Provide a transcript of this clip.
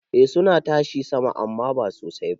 Eh suna tashi sama amman ba sosai ba.